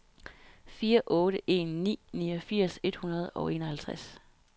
fire otte en ni niogfirs et hundrede og enoghalvtreds